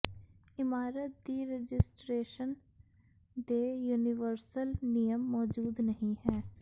ਇਮਾਰਤ ਦੀ ਰਜਿਸਟਰੇਸ਼ਨ ਦੇ ਯੂਨੀਵਰਸਲ ਨਿਯਮ ਮੌਜੂਦ ਨਹੀ ਹੈ